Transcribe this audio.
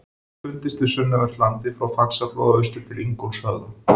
Hefur fundist við sunnanvert landið frá Faxaflóa austur til Ingólfshöfða.